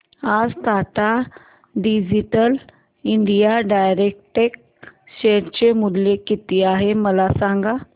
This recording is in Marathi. आज Tata digital India direct share चे मूल्य किती आहे मला सांगा